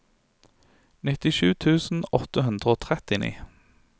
nittisju tusen åtte hundre og trettini